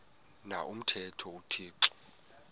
na umthetho uthixo